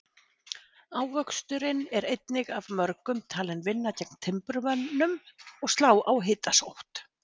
Ávöxturinn er einnig af mörgum talinn vinna gegn timburmönnum og slá á hitasótt.